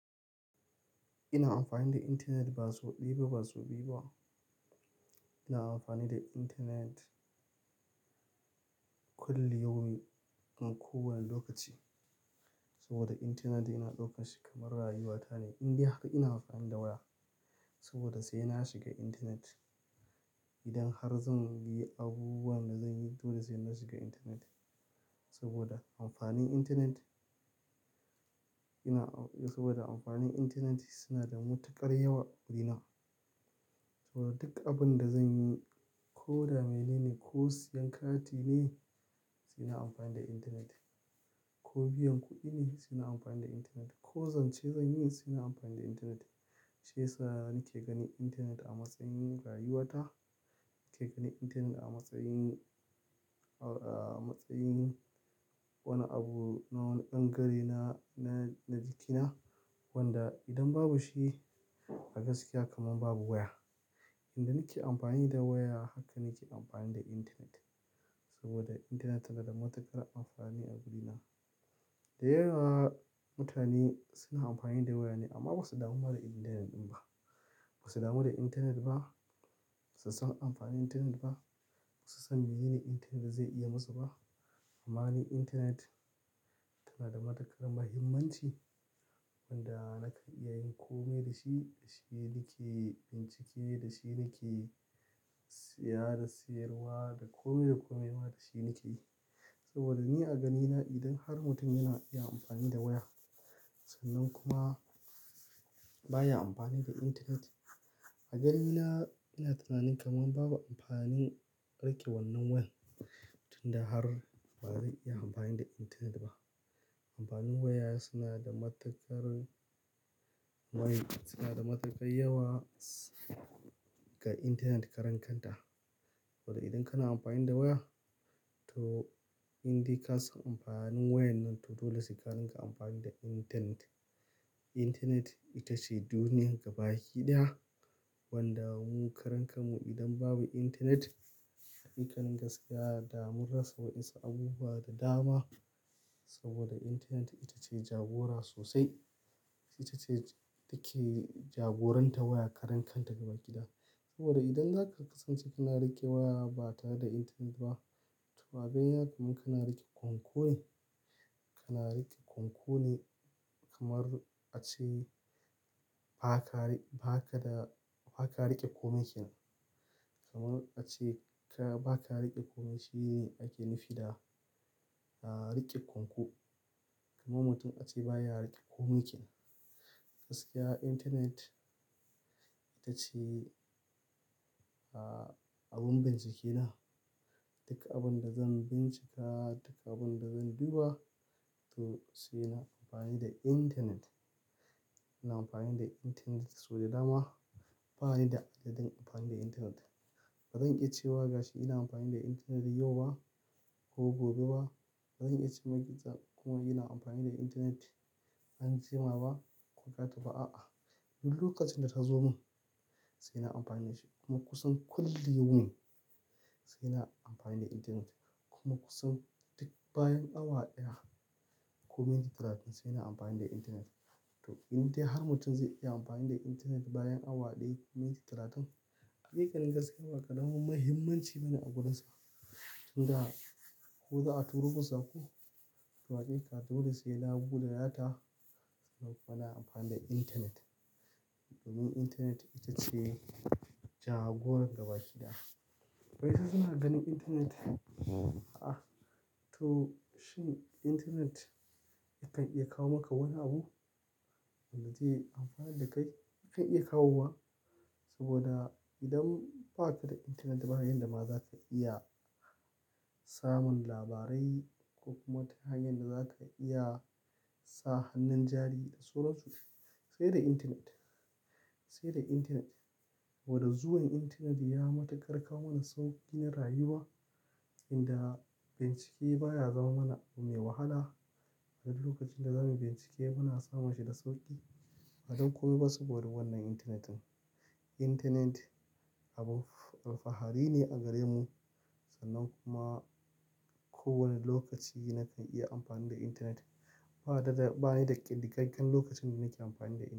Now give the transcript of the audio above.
Ina amfani da intanet ba sau ɗaya ba, sau biyu ba. Ina amfani da internet kullum yaumin, a kowane lokaci saboda intanet ina daukar shi kamar rayuwata ne. Inda haka ina amfani da waya saboda sai na shiga internet. Idan har zan yi abubuwan da zan yi, dole sai na shiga intanet saboda amfanin intanet. Ina saboda amfanin internet suna da matuƙar yawa a gurina saboda, duk abin da zan yi, ko da menene ko siyan kati ne, sai na amfani da internet. Ko biyan kuɗi ne, sai na amfani da intanet. Ko zance zan yi, sai na amfani da intanet. Shiyasa ni ke gani internet a matsayin rayuwata, ke gani internet a matsayin, a matsayin wani abu na wani bangare, na jikina wanda idan babu shi a gaskiya kamar babu waya. Inda nake amfani da waya haka nake amfani da internet saboda internet tana da matuƙar amfani a gurina. Da yawa mutane suna amfani da waya ne amma ba su damu ma da internet ɗin ba. Ba su damu da internet ba. Ba su san amfanin internet ba. Ba su san me yene internet zai iya musu ba. Amma ni internet tana da matuƙar muhimmanci wanda nakan iya yin kome da shi, da shi ni ke bincike, da shi ni ke saya da sayarwa da kome da kome ma da shi ni ke yi. Saboda ni a ganina idan har mutum yana iya amfani da waya sannan kuma ba ya amfani da internet, a ganina ina tunanin kamar babu amfanin riƙe wannan wayan. Tun da har ba zai iya amfani da internet ba. Amfanin waya suna da matuƙar, waya suna da matuƙar yawa ga internet karankanta. Saboda idan kana amfani da waya to in dai ka san amfanin wayan nan to dole sai ka rinƙa amfani da internet. Internet ita ce duniyar gabaki ɗaya wanda mu karankamu idan babu internet, hakikanin gaskiya, da mun rasa wasu abubuwa da dama. Saboda internet ita ce jagora sosai. Ita ce take jagoranta waya karancan ta gaba ɗaya. Saboda idan zaka kasance kana riƙe waya ba tare da internet ba, to a ga yana kuma kana riƙe kunku ne, kana riƙe kunku ne kamar a ce ba ka, ba ka da, ba ka riƙe komai kenan. Kamar a ce ka, ba ka riƙe komai shi ake nufi da riƙe kunku. Kamar mutum a ce baya riƙe komai kenan. Gaskiya internet ita ce abin bincike na. Duk abin da zan bincika, duka abin da zan duba toh sai na amfani da internet. Ina amfani da internet sau da dama. Ba ni da adadin amfani da internet. Ba zan iya cewa gashi ina amfani da internet yau ba ko gobe ba. Ba zan iya cewa gizo kuma ina amfani da internet anjima ba ko gata ba a'a. Duk lokacin da ta zo mun sai na amfane shi kuma kusan kulliyaumin sai na amfani da internet. Kuma kusan duk bayan awa ɗaya ko minti talatin sai na amfani da intanet. To, in dai har mutum zai iya amfani da internet bayan awa ɗaya ko minti talatin, hakikanin gaskiya ba karamin muhimmanci bane a gare sa. Tun da har in za'a turo sako to hakika dole sai na bude data dan nayi amfani da internet. Domin internet ita ce jagorar gabaki ɗaya. Eh ai ina ganin internet a'a toh shin internet zata iya kawo maka wani abu wanda zai amfana da kai? Zata iya kawowa saboda idan ba ka da internet ba yanda ma zaka iya samun labarai ko kuma wata hanyar da za ka iya sa hannun jari da sauran su sai da internet. Sai da internet. Woda zuwan internet ya matukar kawo mana sauƙi na rayuwa inda bincike baya zama mana abu mai wahala. A duk lokacin da zamu bincike muna samun shi da sauƙi. Ba dan komai ba sa boda wannan internet ne. Internet abu alfahari ne a gare mu sannan kuma kowane lokaci nakan iya amfani da internet. Ba dada, ba ni da ƙaɗagaggen lokacin da nake amfani da in.